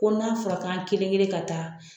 Ko n'a fɔra an kelen kelen ka taa